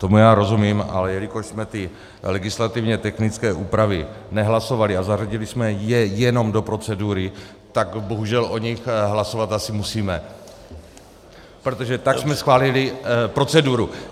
Tomu já rozumím, ale jelikož jsme ty legislativně technické úpravy nehlasovali a zařadili jsme je jenom do procedury, tak bohužel o nich hlasovat asi musíme, protože tak jsme schválili proceduru.